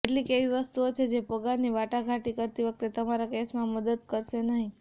કેટલીક એવી વસ્તુઓ છે જે પગારની વાટાઘાટ કરતી વખતે તમારા કેસમાં મદદ કરશે નહીં